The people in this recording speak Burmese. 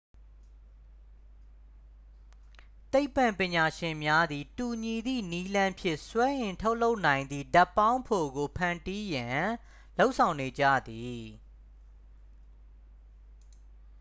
သိပ္ပံပညာရှင်များသည် တူညီသည့်နည်းလမ်းဖြင့် စွမ်းအင်ထုတ်လုပ်နိုင်သည့် ဓာတ်ပေါင်းဖိုကို ဖန်တီးရန် လုပ်ဆောင်နေကြသည်